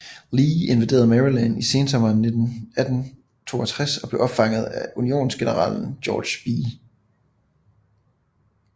Lee invaderede Maryland i sensommeren 1862 og blev opfanget af Unionsgeneralen George B